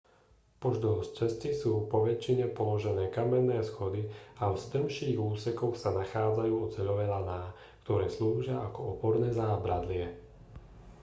pozdĺž cesty sú poväčšine položené kamenné schody a v strmších úsekoch sa nachádzajú oceľové laná ktoré slúžia ako oporné zábradlie